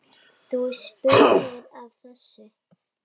Þú spurðir að þessu.